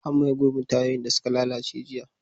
An maye gurbin tayoyin da suka lalace jiya.